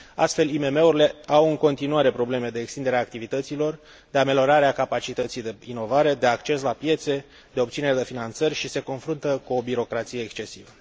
Astfel, IMM urile au în continuare probleme de extindere a activităților, de ameliorare a capacității de inovare, de acces la piețe, de obținere de finanțări și se confruntă cu o birocrație excesivă.